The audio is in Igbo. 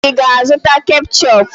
Ị ga-azụta ketchup?